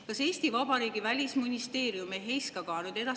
Kas Eesti Vabariigi välisministeerium ei heiska ka edaspidi enam …